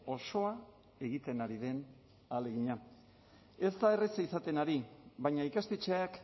osoa egiten ari den ahalegina ez da erreza izaten ari baina ikastetxeak